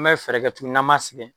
N bɛ fɛɛrɛkɛ tuguni na ma sɛgɛn